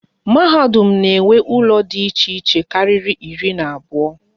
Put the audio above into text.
Mahadum na enwe ụlọ dị iche iche kárírí iri na abụọ